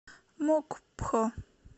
мокпхо